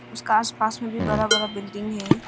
उसका आसपास में भी बड़ा बड़ा बिल्डिंग है।